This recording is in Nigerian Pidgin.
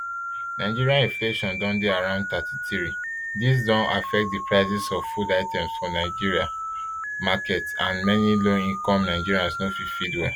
nigeria inflation dey dey around thirty-three dis don affect di prices of food items for market and many low income nigerians no fit feed well